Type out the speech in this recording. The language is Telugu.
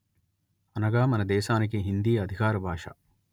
అనగా మన దేశానికి హిందీ అధికార భాష